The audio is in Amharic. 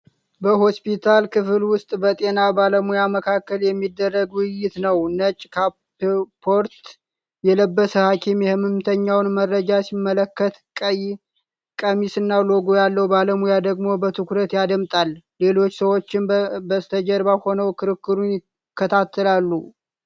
በሆስፒታል ክፍል ውስጥ በጤና ባለሙያዎች መካከል የሚደረግ ውይይት ነው። ነጭ ካፖርት የለበሰ ሐኪም የሕመምተኛውን መረጃ ሲመለከት፣ ቀይ ቀሚስና ሎጎ ያለው ባለሙያ ደግሞ በትኩረት ያዳምጣል። ሌሎች ሰዎችም በስተጀርባ ሆነው ክርክሩን ይከታተላሉ።